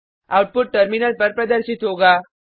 output terminal पर प्रदर्शित होगा